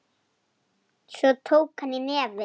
Svo tók hann í nefið.